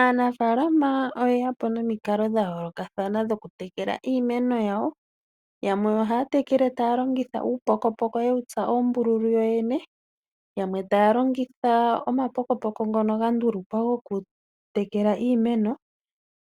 Aanafalama oyeya po nomikalo dhayoolokathana dhokutekela iimeno yawo yamwe ohaya tekele taya longitha uupokopoko yewu tsa uumbululu yoyene yamwe taya longitha omapokopoko ngono gandulukwa okutekela iimeno